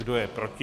Kdo je proti?